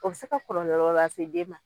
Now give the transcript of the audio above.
O bi se ka kɔlɔlɔɔ lase den ma